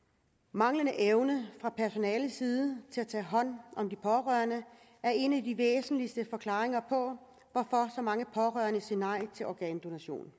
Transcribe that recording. manglende evne fra personalets side til at tage hånd om de pårørende er en af de væsentligste forklaringer på hvorfor så mange pårørende siger nej til organdonation